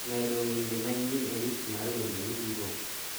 medo wende manyien e list mar wende mitugo